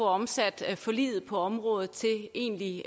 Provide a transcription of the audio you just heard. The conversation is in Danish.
omsat forliget på området til egentlig